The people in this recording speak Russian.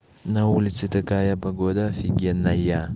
на улице такая погода офигенная